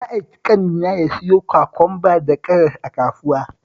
Na aiki ƙanina ya siyo kwakwamba da karas a kasuwa